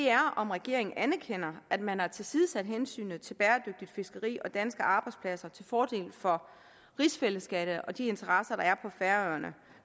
er om regeringen anerkender at man har tilsidesat hensynet til bæredygtigt fiskeri og danske arbejdspladser til fordel for rigsfællesskabet og de interesser der er på færøerne